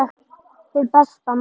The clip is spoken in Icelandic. Hið besta mál